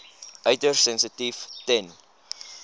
uiters sensitief ten